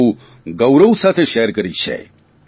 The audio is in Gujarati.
તે પણ બહુ ગૌરવ સાથે શેર કરી છે